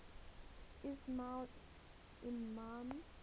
ismaili imams